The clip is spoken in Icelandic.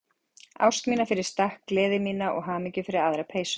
Ást mína fyrir stakk, gleði mína og hamingju fyrir aðra peysu.